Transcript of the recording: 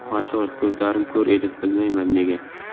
Ochig‘i, ko‘zlarim ko‘r edi, bilmayman nega.